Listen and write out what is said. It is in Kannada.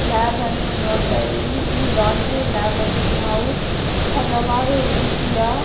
ಲ್ಯಾಬ್ ಅನ್ನು ನೋಡತಾಯಿದೀವಿ ಈ ಲಾಂಡರಿ ಲ್ಯಾಬ್ ಅಲ್ಲಿ ನಾವು ಹಲವಾರು ರೀತಿಯ.